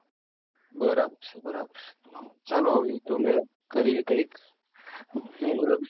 બરાબર છે બરાબર છે ચાલો હવે એ તો અમે કરીએ કંઈક બોલો બીજું